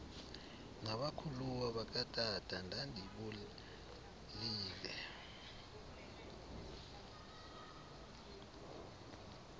nabakhuluwa bakatata ndandibolile